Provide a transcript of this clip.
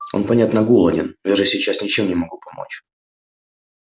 он понятно голоден но я же сейчас ничем не могу помочь